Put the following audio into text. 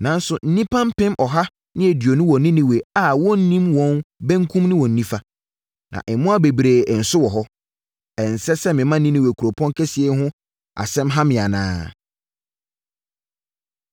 Nanso nnipa mpem ɔha ne aduonu wɔ Ninewe a wɔnnim wɔn benkum ne wɔn nifa. Na mmoa bebree nso wɔ hɔ. Ɛnsɛ sɛ mema Ninewe kuropɔn kɛseɛ yi ho asɛm ha me anaa?”